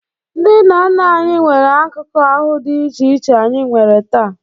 Ndị nna nna anyị nwere akụkụ ahụ dị iche iche anyị nwere taa.